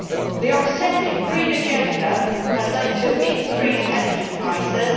The obsessive green agenda has led to increased energy prices.